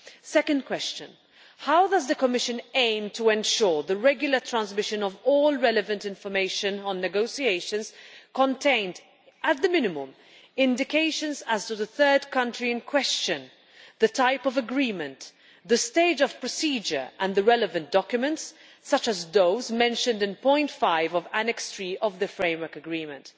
Second, how does the Commission aim to ensure that the regular transmission of all relevant information on negotiations contains, at the minimum, indications as to the third country in question, the type of agreement, the stage of procedure and the relevant documents, such as those mentioned in point 5 of Annex 3 of the Framework Agreement?